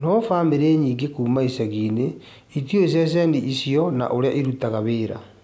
No bamĩrĩ nyingĩ kuuma icagi-inĩ itiũĩ cecheni icio na ũrĩa irutaga wĩra